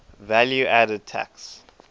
value added tax